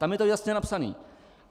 Tam je to jasně napsané.